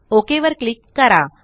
okay वर click करा